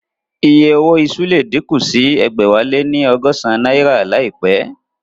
Iye owó iṣu le díkù sí ẹgbẹ̀wáléní ọgọ́san náírà láìpẹ́